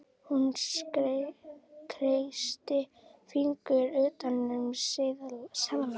Hún kreistir fingurna utan um seðlana.